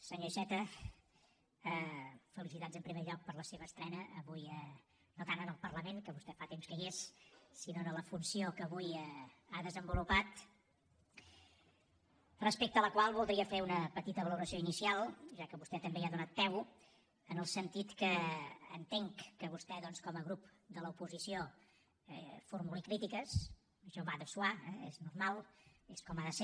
senyor iceta felicitats en primer lloc per la seva estrena avui no tant en el parlament que vostè fa temps que hi és sinó en la funció que avui ha desenvolupat respecte a la qual voldria fer una petita valoració inicial ja que vostè també hi ha donat peu en el sentit que entenc que vostè doncs com a grup de l’oposició formuli crítiques això va de soimal és com ha de ser